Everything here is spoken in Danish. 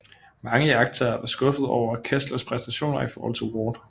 Mange iagttagere var skuffede over Kesslers præstationer i forhold til Ward